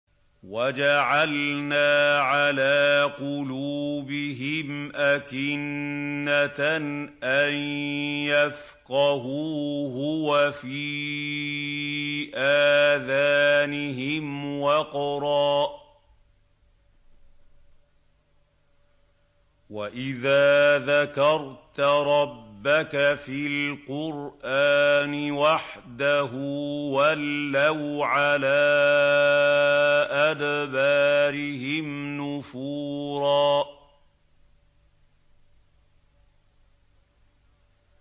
وَجَعَلْنَا عَلَىٰ قُلُوبِهِمْ أَكِنَّةً أَن يَفْقَهُوهُ وَفِي آذَانِهِمْ وَقْرًا ۚ وَإِذَا ذَكَرْتَ رَبَّكَ فِي الْقُرْآنِ وَحْدَهُ وَلَّوْا عَلَىٰ أَدْبَارِهِمْ نُفُورًا